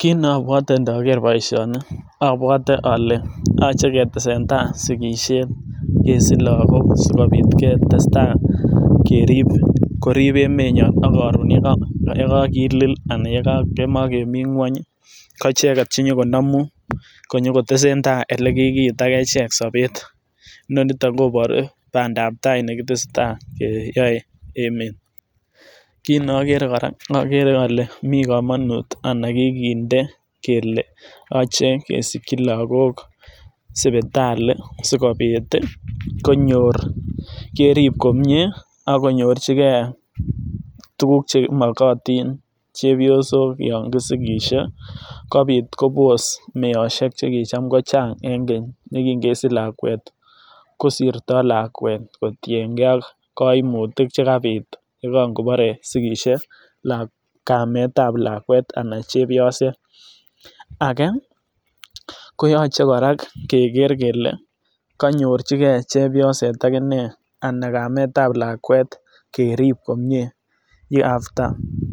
kit ne obwoten ndoker boishoni obwote ole yoche ketesen tai sikishet kesich lokok sikobit ketestai kerib korib emenyon ak koron yekokilil anan yemokemii ngwony ko icheket chenyokonomum konyo kotesentai ele kikiit ak echek sobet nenoniton koboruu pandap tai nekitesetai keyoe emet. Kit ne okere koraa okere ole mii komonut anan kikinde kele yoche kesiki lokok sipitali sikobit konyor kerib komie ak konyorchigee tukuk chemokoti chepyosok yon kisikisiek kobit kobos meosiek chekitam kochang en keny nekin kesich lakwet kosirto lakwet kotiyen gee koimutik chekabit ye kan kobore sikishet kamet ab lakwet anan chepyoset. Age koyoche koraa keker kele konyorchi gee chepyoset akinee anan kamet ab lakwet kerib komie ye after